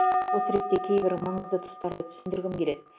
осы ретте кейбір маңызды тұстарды түсіндіргім келеді